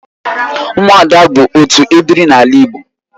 Ụmụada bụ otu ebiri n'ala Igbo